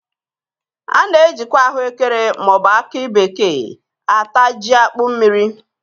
A na- ejikwa ahụekere ma ọ bụ akị bekee ata jí akpụ mmiri.